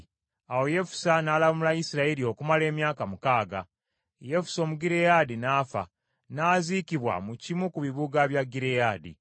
Awo Yefusa n’alamula Isirayiri okumala emyaka mukaaga. Yefusa Omugireyaadi n’afa, n’aziikibwa mu kimu ku kibuga bya Gireyaadi.